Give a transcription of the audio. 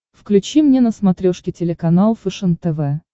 включи мне на смотрешке телеканал фэшен тв